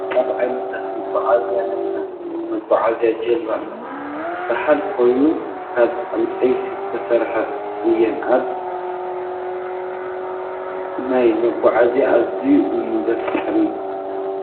ካብ ዓይነታት መጉዓዝያ ናይ ማይ መጉዓዝያ ጀልባ ዝበሃላ ኮይነን ካብ ዕንፀይቲ ዝተሰርሓ እዩን። ኣን ኣብ ማይ ምጉዓዝ ኣዝዩ እዩ ዘፍረሐኒ።